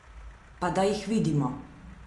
Pa da jih vidimo!